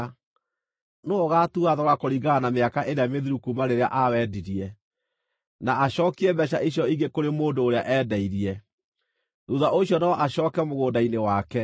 nĩwe ũgaatua thogora kũringana na mĩaka ĩrĩa mĩthiru kuuma rĩrĩa aawendirie, na acookie mbeeca icio ingĩ kũrĩ mũndũ ũrĩa eendeirie; thuutha ũcio no acooke mũgũnda-inĩ wake.